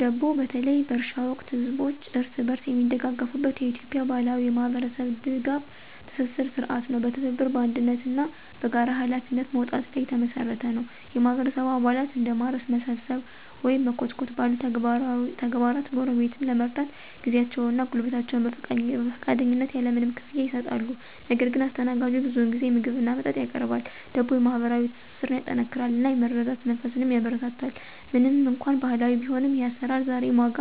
ደቦ በተለይ በእርሻ ወቅት ህዝቦች እርስ በርስ የሚደጋገፉበት የኢትዮጵያ ባህላዊ የማህበረሰብ ድጋፍ ትስስር ሥርዓት ነው። በትብብር፣ በአንድነት እና በጋራ ኃላፊነት መወጣት ላይ የተመሰረተ ነው። የማህበረሰቡ አባላት እንደ ማረስ፣ መሰብሰብ ወይም መኮትኮት ባሉ ተግባራት ጎረቤትን ለመርዳት ጊዜያቸውን እና ጉልበታቸውን በፈቃደኝነት ያለ ምንም ክፍያ ይሰጣሉ። ነገር ግን አስተናጋጁ ብዙውን ጊዜ ምግብ እና መጠጥ ያቀርባል። ደቦ የማህበራዊ ትስስርን ያጠናክራል እናም የመረዳዳት መንፈስን ያበረታታል። ምንም እንኳን ባህላዊ ቢሆንም፣ ይህ አሰራር ዛሬም ዋጋ